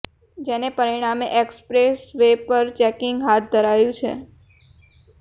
જેને પરિણામે expressway પર ચેકીંગ હાથ ધરાયું છે